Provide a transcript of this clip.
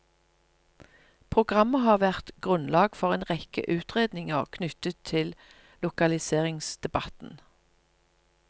Programmet har vært grunnlag for en rekke utredninger knyttet til lokaliseringsdebatten.